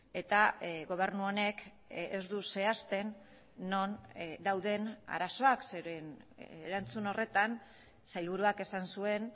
eta gobernu honek ez du zehazten non dauden arazoak zeren erantzun horretan sailburuak esan zuen